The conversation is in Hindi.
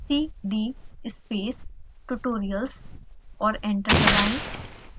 cd space tutorials और एंटर दबाएं